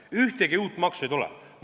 Ühtegi uut maksu ei tule.